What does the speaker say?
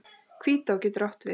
Hvítá getur átt við